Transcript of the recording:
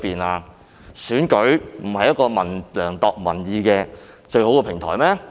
難道選舉不是量度民意的最好平台嗎？